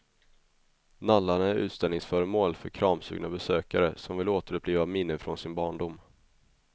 Nallarna är utställningsföremål för kramsugna besökare som vill återuppliva minnen från sin barndom.